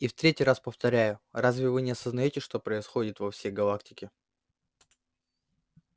и в третий раз повторяю разве вы не осознаете что происходит во всей галактике